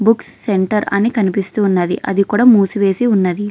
Books centre అని కనిపిస్తూ ఉన్నది అది కూడా మూసివేసి ఉన్నది.